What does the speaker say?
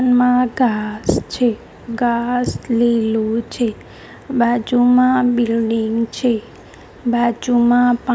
મા ઘાસ છે ઘાસ લીલુ છે બાજુમાં બિલ્ડીંગ છે બાજુમાં--